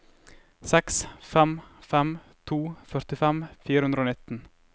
seks fem fem to førtifem fire hundre og nitten